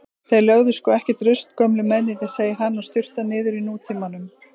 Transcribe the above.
Þeir lögðu sko ekkert rusl gömlu mennirnir, segir hann og sturtar niður Nútímanum.